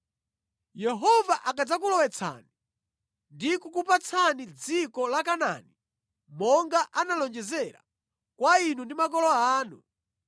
“Yehova akadzakulowetsani ndi kukupatsani dziko la Kanaani monga analonjezera kwa inu ndi makolo anu,